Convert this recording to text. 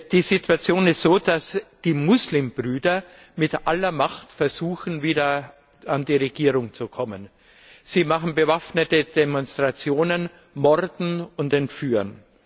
Die Situation ist so, dass die Muslimbrüder mit aller Macht versuchen, wieder an die Regierung zu kommen. Sie machen bewaffnete Demonstrationen, morden und entführen.